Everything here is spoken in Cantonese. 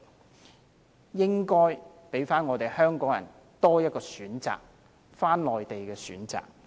他們應該給香港人多一個選擇，一個返回內地的選擇。